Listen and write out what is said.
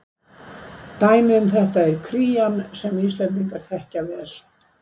Dæmi um þetta er krían sem Íslendingar þekkja vel.